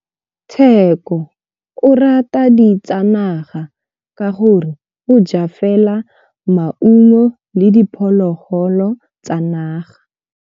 Tshekô o rata ditsanaga ka gore o ja fela maungo le diphologolo tsa naga.